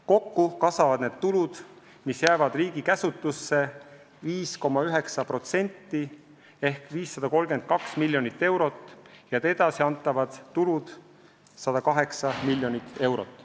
Kokku kasvavad need tulud, mis jäävad riigi käsutusse, 5,9% ehk 532 miljonit eurot, ja edasiantavad tulud 108 miljonit eurot.